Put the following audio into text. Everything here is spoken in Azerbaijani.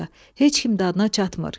Heç kim dadına çatmır.